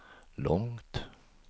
långt